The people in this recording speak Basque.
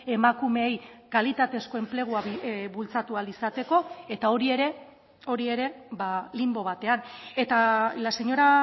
emakumeei kalitatezko enplegua bultzatu ahal izateko eta hori ere hori ere linbo batean eta la señora